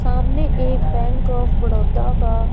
सामने एक bank of Baroda का--